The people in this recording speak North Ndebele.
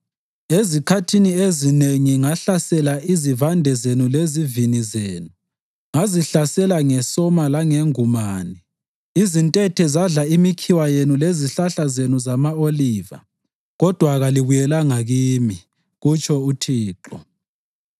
“Ezikhathini ezinengi ngahlasela izivande zenu lezivini zenu, ngizihlasela ngesona langengumane. Izintethe zadla imikhiwa yenu lezihlahla zenu zama-oliva, kodwa kalibuyelanga kimi,” kutsho uThixo.